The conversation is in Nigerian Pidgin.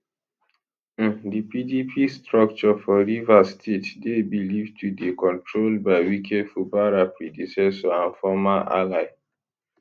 um di pdp structure for rivers state dey believed to dey controlled by wike fubara predecessor and former ally